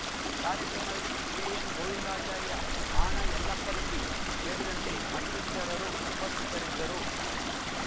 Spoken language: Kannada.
ಕಾರ್ಯಕ್ರಮದಲ್ಲಿ ಕೆಎನ್‌ ಗೋವಿಂದಾಚಾರ್ಯ ಆಣ ಯಲ್ಲಪ್ಪ ರೆಡ್ಡಿ ಸೇರಿದಂತೆ ಮತ್ತಿತರರು ಉಪಸ್ಥಿತರಿದ್ದರು